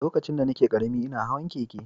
Lokacin da nake ƙarami, ina hawan keke.